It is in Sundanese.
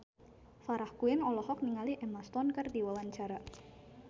Farah Quinn olohok ningali Emma Stone keur diwawancara